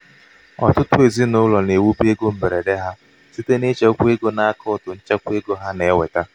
ọtụtụ ezinaụlọ na-ewube ego mgberede ha site n'ichekwa ego n'akaụtụ nchekwa ego ha na-enweta.